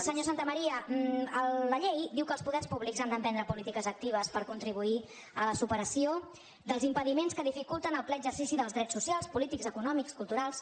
senyor santamaría la llei diu que els poders públics han d’emprendre polítiques actives per contribuir a la superació dels impediments que dificulten el ple exer·cici dels drets socials polítics econòmics culturals